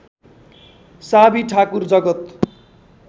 साबि ठाकुर जगत